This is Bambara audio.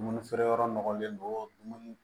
Dumuni feere yɔrɔ nɔgɔlen don dumuni